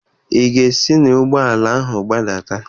Ị ga-esi n'ụgbọala ahụ gbadata!